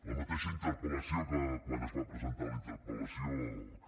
la mateixa interpel·lació que quan es va presentar la interpel·lació que